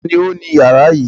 Ta ni ó ni ìyàrá yìí?